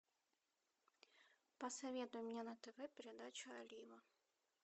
посоветуй мне на тв передачу олива